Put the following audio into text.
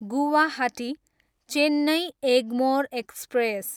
Guwahati, Chennai Egmore express